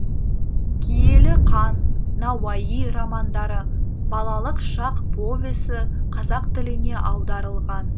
киелі қан науаи романдары балалық шақ повесі қазақ тіліне аударылған